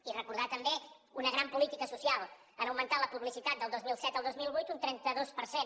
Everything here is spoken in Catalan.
i recordar també una gran política social han augmentat la publicitat del dos mil set al dos mil vuit un trenta dos per cent